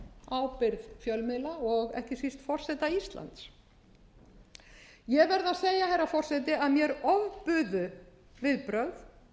ábyrgð fjölmiðla og ekki síst forseta íslands ég verð að segja herra forseti að mér ofbuðu viðbrögð